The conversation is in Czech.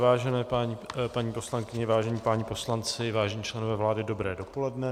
Vážené paní poslankyně, vážení páni poslanci, vážení členové vlády, dobré dopoledne.